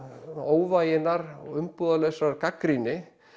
óvæginnar og gagnrýni